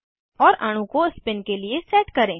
और अणु को स्पिन के लिए सेट करें